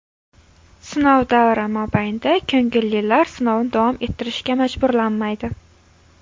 Sinov davri mobaynida ko‘ngillilar sinovni davom ettirishga majburlanmaydi.